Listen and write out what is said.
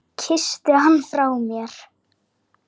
Kysstu hann frá mér.